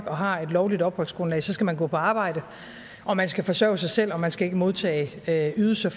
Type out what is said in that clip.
og har et lovligt opholdsgrundlag skal man gå på arbejde og man skal forsørge sig selv og man skal ikke modtage ydelser